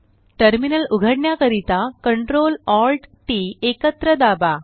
terminal उघडण्या करिता CTRLALTT एकत्र दाबा